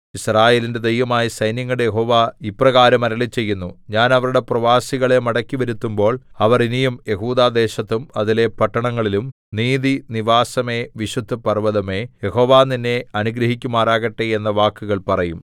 യിസ്രായേലിന്റെ ദൈവമായ സൈന്യങ്ങളുടെ യഹോവ ഇപ്രകാരം അരുളിച്ചെയ്യുന്നു ഞാൻ അവരുടെ പ്രവാസികളെ മടക്കിവരുത്തുമ്പോൾ അവർ ഇനിയും യെഹൂദാ ദേശത്തും അതിലെ പട്ടണങ്ങളിലും നീതി നിവാസമേ വിശുദ്ധപർവ്വതമേ യഹോവ നിന്നെ അനുഗ്രഹിക്കുമാറാകട്ടെ എന്ന വാക്കുകൾ പറയും